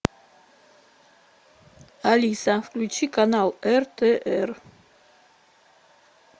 алиса включи канал ртр